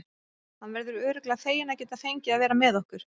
Hann verður örugglega feginn að geta fengið að vera með okkur.